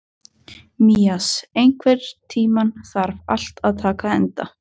Mías, einhvern tímann þarf allt að taka enda.